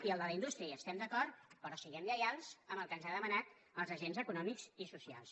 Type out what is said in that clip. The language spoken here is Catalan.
i amb el de la indústria hi estem d’acord però siguem lleials amb el que ens han demanat els agents econòmics i socials